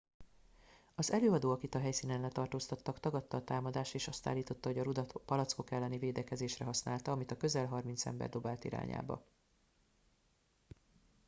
az előadó akit a helyszínen letartóztattak tagadta a támadást és azt állította hogy a rudat a palackok elleni védekezésre használta amit a közel harminc ember dobált irányába